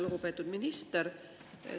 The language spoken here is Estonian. Lugupeetud minister!